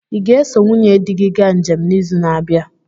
ị ga-eso nwunye di gị ga njem n'izu na-abịa?